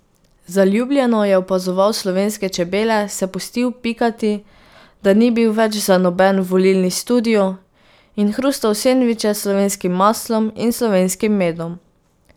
Zaljubljeno je opazoval slovenske čebele, se pustil pikati, da ni bil več za noben volilni studio, in hrustal sendviče s slovenskim maslom in slovenskim medom.